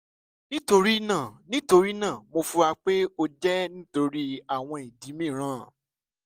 nitorina nitorina mo fura pe o jẹ nitori awọn idi miiran